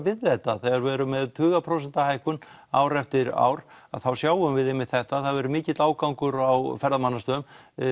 við þetta þegar við erum með tuga prósenta hækkun ár eftir ár að þá sjáum við einmitt þetta það hefur verið mikill ágangur á ferðamannastöðum